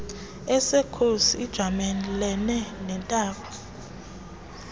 esekhosi ijamelene nentaba